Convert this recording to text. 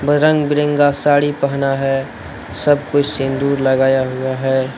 रंग बिरंगा साड़ी पहना है। सब कोई सिंदूर लगाया हुआ है।